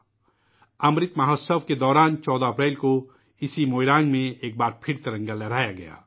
'' امرت مہوتسو '' کے دوران 14 اپریل کو اسی موئیرانگ میں ایک بار پھر ترنگا لہرایا گیا